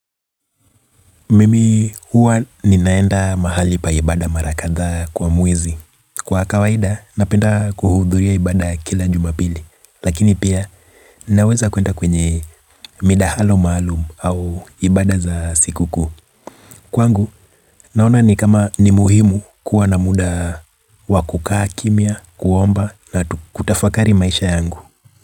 Mimi huwa ninaenda mahali pa ibada mara kadhaa kwa mwezi. Kwa kawaida, napenda kuhudhuria ibada ya kila jumapili. Lakini pia, ninaweza kuenda kwenye midahalo maalum au ibada za sikukuu. Kwangu, naona ni kama ni muhimu kuwa na muda wa kukaa kimya, kuomba na kutafakari maisha yangu.